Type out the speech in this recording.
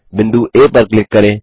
बिंदु आ पर क्लिक करें